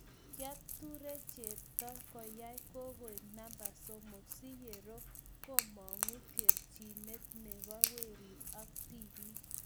kitature chepto koyay kokoe namba somok si ye roo k komugu keechinet ne bo werii ak tibii